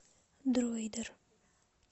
дроидер